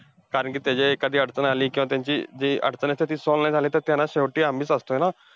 कारण कि त्याची एखादी अडचण आली, किंवा त्यांची जी अडचण असते, ती solve नाही झाली, तर त्याला शेवटी आम्हीच असतोय ना.